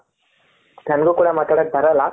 ನನಗು ಕೂಡ ಮಾತಾಡಕೆ ಬರಲ್ಲ,